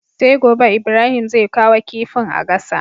Sai gobe Ibrahim zai kawo kifin a gasa